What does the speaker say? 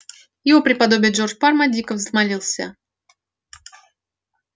его преподобие джордж парма дико взмолился